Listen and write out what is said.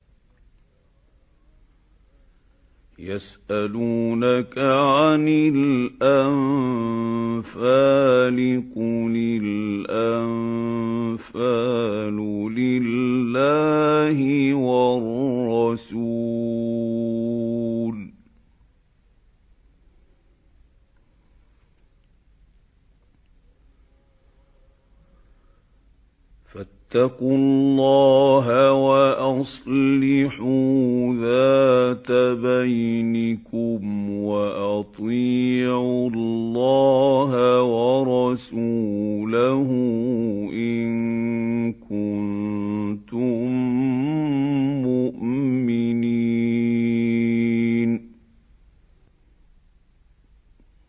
يَسْأَلُونَكَ عَنِ الْأَنفَالِ ۖ قُلِ الْأَنفَالُ لِلَّهِ وَالرَّسُولِ ۖ فَاتَّقُوا اللَّهَ وَأَصْلِحُوا ذَاتَ بَيْنِكُمْ ۖ وَأَطِيعُوا اللَّهَ وَرَسُولَهُ إِن كُنتُم مُّؤْمِنِينَ